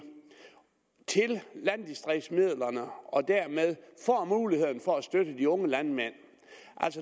til landdistriktsmidlerne og dermed få muligheden for at støtte de unge landmænd